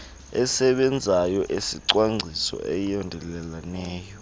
esebenzayo esicwangciso esiyondeleleneyo